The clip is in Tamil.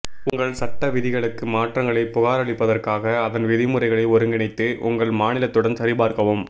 உங்கள் சட்டவிதிகளுக்கு மாற்றங்களைப் புகாரளிப்பதற்காக அதன் விதிமுறைகளை ஒருங்கிணைத்து உங்கள் மாநிலத்துடன் சரிபார்க்கவும்